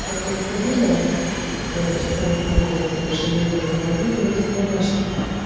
какое-то время блять аж целых полгода больше не вывезла увязывались мамашки